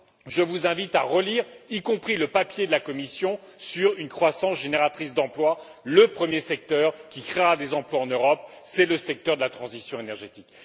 Je vous invite à relire notamment le papier de la Commission sur une croissance génératrice d'emplois le premier secteur qui créera des emplois en Europe, c'est le secteur de la transition énergétique.